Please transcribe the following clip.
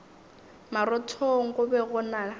marothong go be go na